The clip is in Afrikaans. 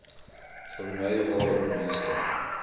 vermy waarin meeste